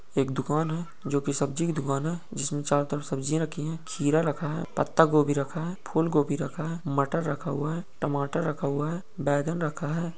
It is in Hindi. एक दुकान है जो कि सब्जी की दुकान है जिसमे चारो तरफ सब्जी रखी है खीरा रखा है पत्ता गोभी रखा है फूल गोभी रखा है मटर रखा हुआ है टमाटर रखा हुआ है बैगन रखा है।